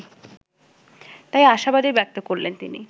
তাই আশাবাদই ব্যক্ত করলেন তিনি